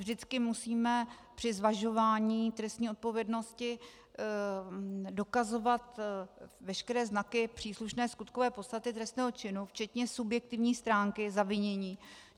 Vždycky musíme při zvažování trestní odpovědnosti dokazovat veškeré znaky příslušné skutkové podstaty trestného činu, včetně subjektivní stránky zavinění.